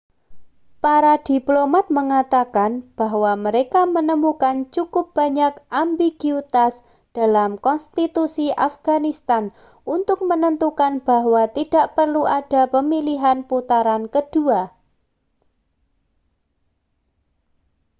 para diplomat mengatakan bahwa mereka menemukan cukup banyak ambiguitas dalam konstitusi afganistan untuk menentukan bahwa tidak perlu ada pemilihan putaran kedua